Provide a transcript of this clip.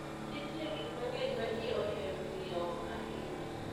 Nitie gik mang'eny ma ji ohero ng'iewo ahinya.